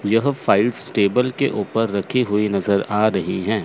यह files table के ऊपर रखी हुई नजर आ रही हैं।